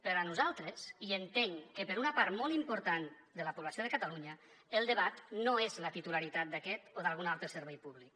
per a nosaltres i entenc que per a una part molt important de la població de catalunya el debat no és la titularitat d’aquest o d’algun altre servei públic